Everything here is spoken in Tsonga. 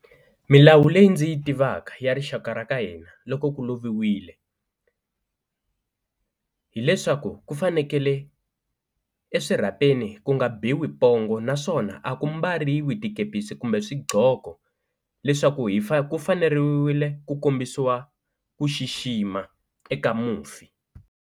Milawu leyi ndzi yi tivaka ya rixaka ra ka hina loko ku loviwile hileswaku ku fanekele eswirhapeni ku nga biwi pongo naswona a ku mbariwi tikepisi kumbe swiqhoko leswaku hi ku faneriwile ku kombisiwa ku xixima eka mufi.